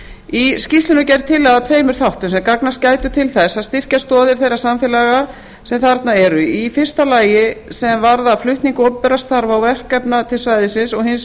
í skýrslunni er gerð tillaga að tveimur þáttum sem gagnast gætu til þess að styrkja stoðir geir samfélaga sem þarna eru í fyrsta lagi sem varðar flutninga opinberra starfa og verkefna til svæðisins og hins